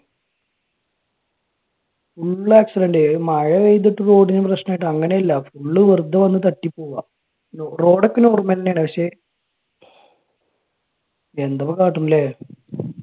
full accident മഴ പെയ്തട്ട് പോലും പ്രശ്നമായിട്ട് അങ്ങനെ അല്ല. full വെറുതെ വന്ന് തട്ടി പോകുവാ. road ഒക്കെ normal തന്നെയാണ്. പക്ഷെ എന്തിപ്പോ കാട്ടും. അല്ലെ?